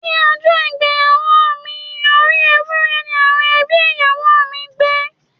Ní ọjọ́ ìgbéyàwó mi, orí Ewúré ni àwọn ẹbí ìyàwó mi gbẹ́.